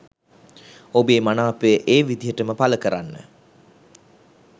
ඔබේ මනාපය ඒ විදිහටම පල කරන්න.